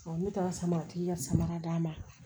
ne taara samaratigi ka samara d'a ma